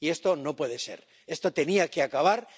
Y esto no puede ser, esto tenía que acabar.